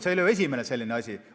See ei ole ju esimene selline asi.